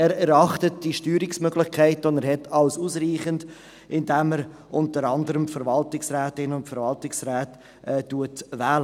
Er erachtet die Steuerungsmöglichkeiten, die er hat, als ausreichend, indem er unter anderem die Verwaltungsrätinnen und Verwaltungsräte wählt.